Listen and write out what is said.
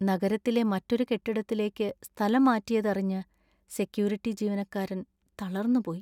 നഗരത്തിലെ മറ്റൊരു കെട്ടിടത്തിലേക്ക് സ്ഥലംമാറ്റിയതറിഞ്ഞ് സെക്യൂരിറ്റി ജീവനക്കാരൻ തളര്‍ന്നുപോയി.